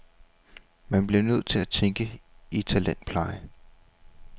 Man bliver nødt til at tænke i talentpleje.